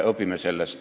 Õpime sellest.